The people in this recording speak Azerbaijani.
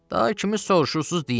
Daha kimi soruşursunuz deyin.